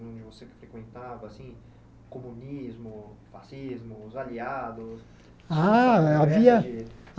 onde você frequentava assim, comunismo, fascismo, os aliados? Ah havia